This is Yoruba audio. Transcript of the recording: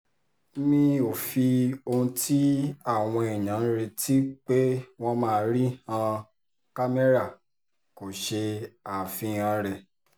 mi ò fi ohun tí àwọn èèyàn ń retí pé wọ́n máa rí han kámẹ́rà kó ṣe àfihàn rẹ̀